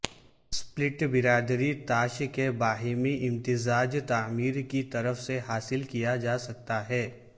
split برادری تاش کے باہمی امتزاج تعمیر کی طرف سے حاصل کیا جا سکتا ہے